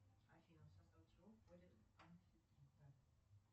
афина в состав чего входит